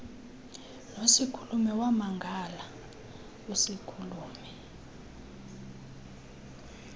nosikhulume wamangala usikhulume